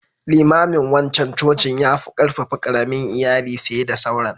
Limamin wancan cocin yafu ƙarfafa ƙaramin Iyali fiye da sauran.